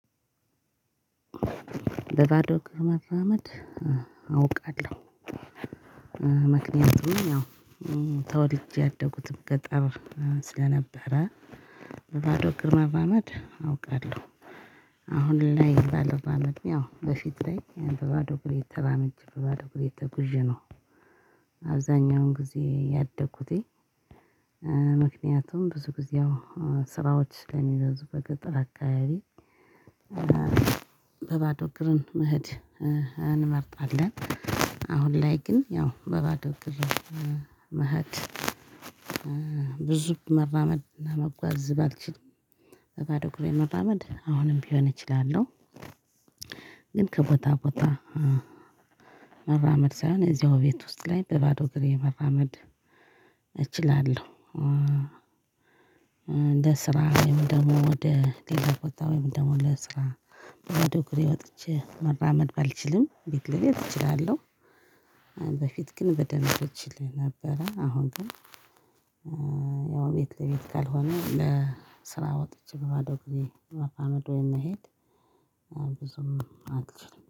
በባዶ እግር መራመድ አውቃለው። ምክንያቱም ያው ተወልጄ ያደጉትም ገጠር ስለነበረ በባዶ እግር መራመድ አውቃለሁ። አሁን ላይ ባልራመድም ያው በፊት ላይ በባዶ እግሬ ተራምጄ በባዶ እግሬ ተጉዤ ነው። አብዛኛውን ጊዜ ያደኩትኝ። ምክንያቱም ብዙ ጊዜ አው ስራዎች ስለሚበዙ አው በገጠር አካባቢ። በባዶ እግርን መሄድ እንመርጣለን። አሁን ላይ ግን ያው በባዶ እግር መሃድ ብዙ መራመድ እና መጓዝ ባልችልም በባዶ እግሬ መራመድ አሁንም ቢሆን እችላለሁ። ግን ከቦታ ቦታ መራመድ ሳይሆን እዚያው ቤት ውስጥ ላይ በባዶ እግሬ መራመድ እችላለሁ። ለስራ ወይም ደሞ ወደ ሌላ ቦታ ወይም ደሞ ለስራ በባዶ እግሬ ወጥቼ መራመደ ባልችልም ቤት ላይ ግን እችላለው። በፊት ግን በደንብ እችል ነበረ አሁን ግን። ያው ቤት ለቤት ካልሆነ ለስራ ወጥቼ በባዶ እግሬ መራመድ ወይም መሄድ ብዙም አልችልም